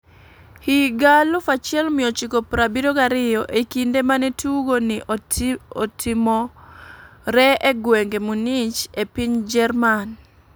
Higa 1972 e kinde mane tugo ni otiomore e gweng Munich e piny jerman,